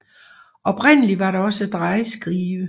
Oprindeligt var der også en drejeskive